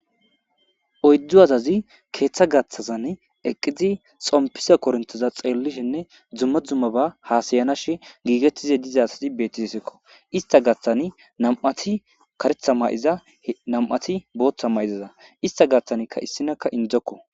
Oyiddu asazzi keththa gaththazanne eqqidi xompizza koronitezza xeelishinne dumma dummaba hasayashon gigetishshe diza asati betizayissakko.issita gaththanni nam''ati kareththa mayiziza nam''ati boththa mayiziza isita gaththanni issimakka indokko.